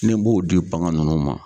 Ne b'o di bagan nunnu ma